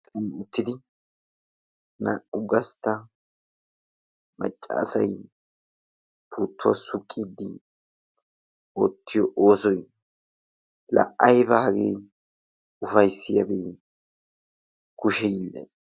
uttidi naa"u gastta macca asay puuttuwa suqiidi ottiyo oosoy laa aybba hagee ufayssiyabee kushe hiillay.